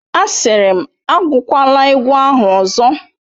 Asịrị m, agụkwala egwu ahụ ọzọ!